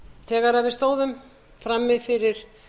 þegar við stóðum frammi fyrir